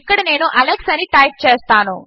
ఇక్కడ నేను అలెక్స్ అని టైప్ చేస్తాను